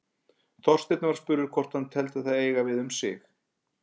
Þorsteinn var spurður hvort hann teldi það eiga við um sig.